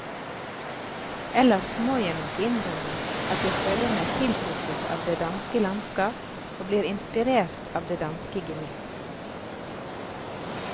Ellers må jeg nok innrømme at jeg føler meg tiltrukket av det danske landskap og blir inspirert av det danske gemytt.